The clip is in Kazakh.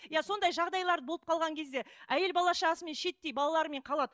иә сондай жағдайлар болып қалған кезде әйел бала шағасымен шиеттей балаларымен қалады